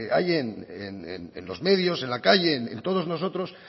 hay en los medios en la calle en todos nosotros